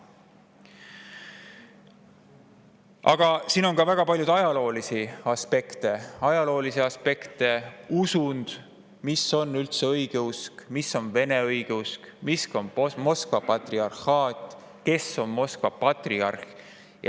Aga siin on ka väga palju ajaloolisi aspekte: mis on üldse õigeusk, mis on vene õigeusk, mis on Moskva patriarhaat, kes on Moskva patriarh.